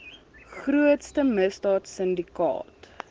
grootste misdaad sindikaat